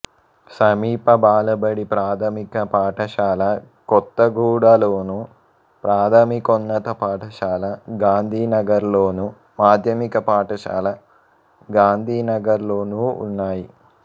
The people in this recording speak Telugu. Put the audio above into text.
సమీప బాలబడి ప్రాథమిక పాఠశాల కొత్తగూడలోను ప్రాథమికోన్నత పాఠశాల గాంధీనగర్లోను మాధ్యమిక పాఠశాల గాంధీనగర్లోనూ ఉన్నాయి